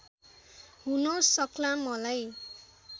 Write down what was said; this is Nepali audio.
हुन सक्ला मलाई